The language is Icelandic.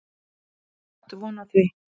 Ég átti von á því.